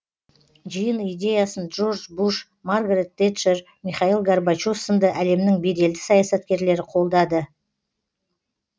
жиын идеясын джордж буш маргарет тэтчер михаил горбачев сынды әлемнің беделді саясаткерлері қолдады